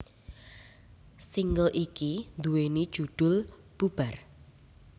Single iki nduwèni judhul Bubar